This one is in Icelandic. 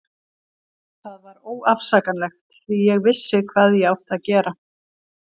Það var óafsakanlegt því ég vissi hvað ég átti að gera.